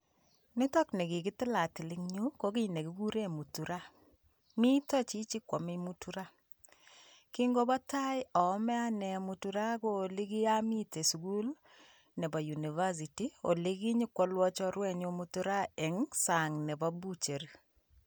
Nitok nii ka kitilatil en yuu ko kii nekikuren muturaa, miten chichii kwome mutura, kingobo taa oome anee mutura ko olii kiomi anee sukul nebo University olee kinyokwolwon chorwenyun mutura eng' sang nebo butchery.